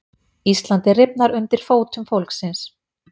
Íslandið rifnar undir fótum fólksins